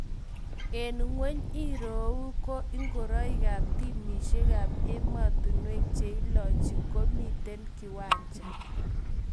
En ngwony irou ko inguriok ap timishek ap emotinwek che iloche komiten kiwancha